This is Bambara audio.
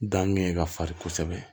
Danni ye ka fari kosɛbɛ